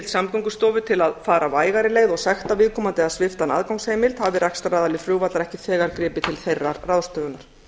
samgöngustofu til að fara vægari leið og sekta viðkomandi eða svipta hann aðgangsheimild hafi rekstraraðili flugvallar ekki þegar gripið til þeirrar ráðstöfunar